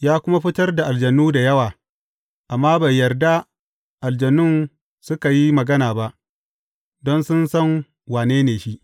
Ya kuma fitar da aljanu da yawa, amma bai yarda aljanun suka yi magana ba, don sun san wane ne shi.